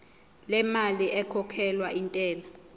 lemali ekhokhelwa intela